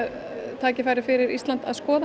tækifæri fyrir Ísland að skoða